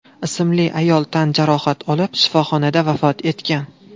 ismli ayol tan jarohati olib, shifoxonada vafot etgan.